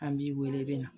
An b'i wele i bɛ na